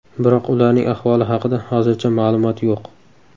Biroq ularning ahvoli haqida hozircha ma’lumot yo‘q.